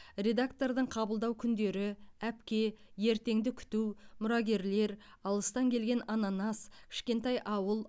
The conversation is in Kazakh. редактордың қабылдау күндері әпке ертеңді күту мұрагерлер алыстан келген ананас кішкентай ауыл